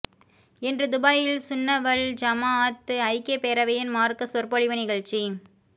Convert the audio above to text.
இன்று துபாயில் சுன்னத் வல் ஜமாஅத் ஐக்கியப் பேரவையின் மார்க்க சொற்பொழிவு நிகழ்ச்சி